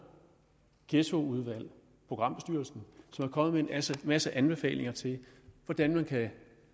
ghettoudvalg programbestyrelsen som er kommet med en masse anbefalinger til hvordan man kan